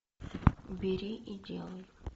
бери и делай